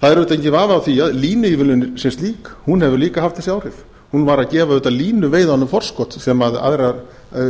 það er auðvitað enginn vafi á því að línuívilnunin sem slík hefur líka haft þessi áhrif hún var að gefa auðvitað línuveiðunum forskot sem aðrar